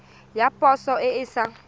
ya poso e e sa